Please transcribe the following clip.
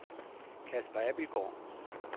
Casper Abildgaard